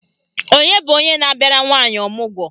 Onye bụ onye na-abịara nwaanyị ọmụgwọ?